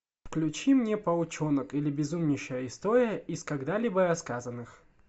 включи мне паучонок или безумнейшая история из когда либо рассказанных